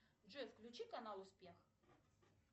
джой включи канал успех